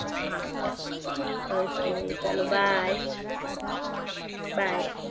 હા ચાલો ચાલો okay bye bye